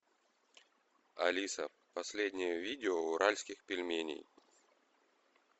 алиса последнее видео уральских пельменей